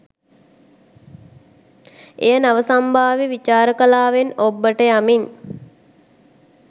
එය නව සම්භාව්‍ය විචාර කලාවෙන් ඔබ්බට යමින්